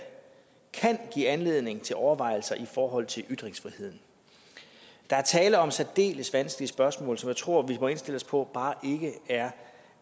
kan give anledning til overvejelser i forhold til ytringsfriheden der er tale om særdeles vanskelige spørgsmål som jeg tror vi må indstille os på